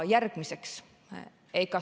Järgmiseks.